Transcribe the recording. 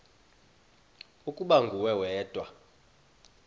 ukuba nguwe wedwa